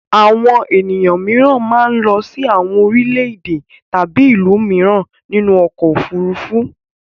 Àwọn ènìyàn mìíràn máa ń lọ sí àwọn orílẹ̀-èdè tàbí ìlú mìíràn nínú ọkọ̀-òfurufú.